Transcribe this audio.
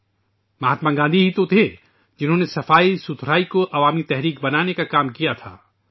یہ مہاتما گاندھی ہی تھے جنہوں نے صفائی کو ایک عوامی تحریک بنانے کا کام کیا تھا